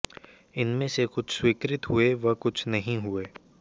इनमें से कुछ स्वीकृत हुए व कुछ नहीं हुए